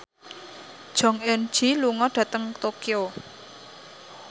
Jong Eun Ji lunga dhateng Tokyo